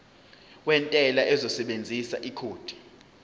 wentela uzosebenzisa ikhodi